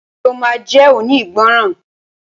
Ṣe o ma jónígbọràn?